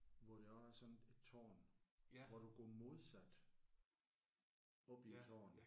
Hvor der er sådan et tårn hvor du går modsat oppe i tårnet